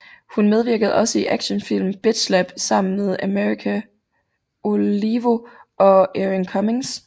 Hun medvirkede også i actionfilmen Bitch Slap sammen med America Olivo og Erin Cummings